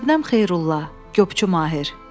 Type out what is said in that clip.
Şəbnəm Xeyrulla, Qopçu Mahir.